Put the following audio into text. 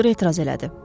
Doktor etiraz elədi.